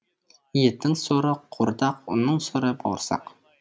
еттің соры қуырдақ ұнның соры бауырсақ